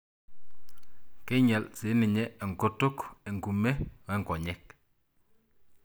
Keinyal sininye enkutuk, enkume wonkonyek.